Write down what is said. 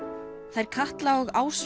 þær Katla og